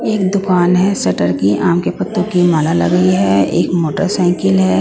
एक दुकान है शटर की आम के पत्तों की माला लगी है एक मोटरसाइकिल है।